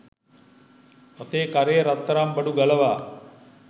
අතේ කරේ රත්තරන් බඩු ගලවා